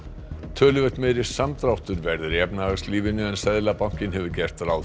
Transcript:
töluvert meiri samdráttur verður í efnahagslífinu en Seðlabankinn hefur gert ráð